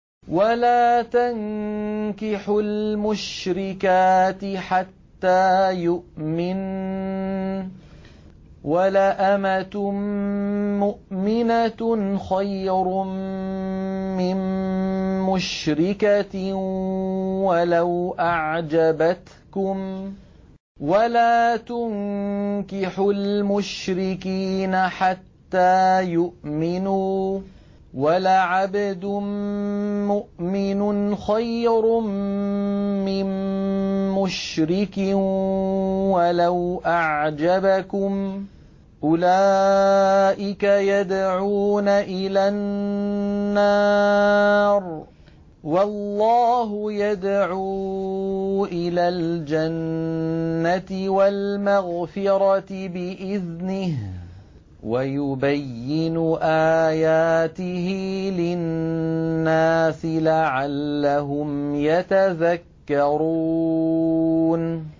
وَلَا تَنكِحُوا الْمُشْرِكَاتِ حَتَّىٰ يُؤْمِنَّ ۚ وَلَأَمَةٌ مُّؤْمِنَةٌ خَيْرٌ مِّن مُّشْرِكَةٍ وَلَوْ أَعْجَبَتْكُمْ ۗ وَلَا تُنكِحُوا الْمُشْرِكِينَ حَتَّىٰ يُؤْمِنُوا ۚ وَلَعَبْدٌ مُّؤْمِنٌ خَيْرٌ مِّن مُّشْرِكٍ وَلَوْ أَعْجَبَكُمْ ۗ أُولَٰئِكَ يَدْعُونَ إِلَى النَّارِ ۖ وَاللَّهُ يَدْعُو إِلَى الْجَنَّةِ وَالْمَغْفِرَةِ بِإِذْنِهِ ۖ وَيُبَيِّنُ آيَاتِهِ لِلنَّاسِ لَعَلَّهُمْ يَتَذَكَّرُونَ